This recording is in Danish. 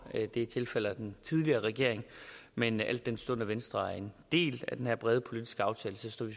den tilfalder den tidligere regering men al den stund at venstre er en del af den her brede politiske aftale står vi